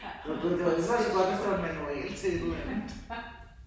Gud det var alligevel også godt hvis det var en manual til et eller andet